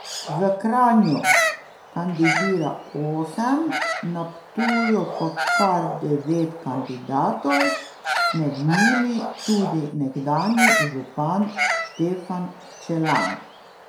V Kranju kandidira osem, na Ptuju pa kar devet kandidatov, med njimi tudi nekdanji župan Štefan Čelan.